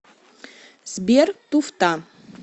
сбер туфта